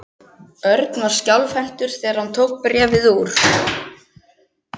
Örn var skjálfhentur þegar hann tók bréfið úr.